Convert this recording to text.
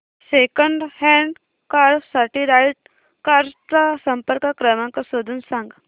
second hand car साठी Right Cars चा संपर्क क्रमांक शोधून सांग